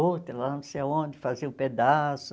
Outra, ela não sei aonde, fazia um pedaço.